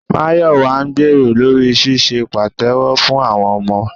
Máyọ̀wà ń gbèrò lórí ṣíṣe pàtẹ́wọ́ fún àwọn ọmọ